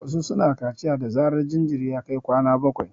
Wasu su na kaciya da zarar jinjiri ya kai kwana bakwai